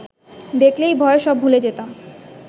দেখলেই ভয়ে সব ভুলে যেতাম